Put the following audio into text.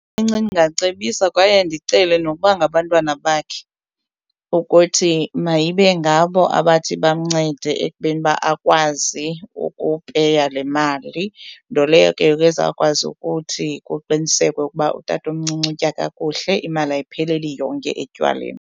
Ndingacebisa kwaye ndicele nokuba ngabantwana bakhe ukuthi mayibe ngabo abathi bamncede ekubeni uba akwazi ukupeya le mali, nto leyo ke ngoku ezawukwazi ukuthi kuqinisekwe ukuba utatomncinci utya kakuhle. Imali ayipheleli yonke etywaleni.